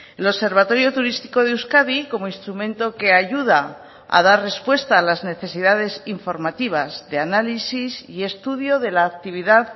el observatorio turístico de euskadi como instrumento que ayuda a dar respuesta a las necesidades informativas de análisis y estudio de la actividad